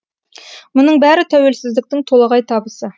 мұның бәрі тәуелсіздіктің толағай табысы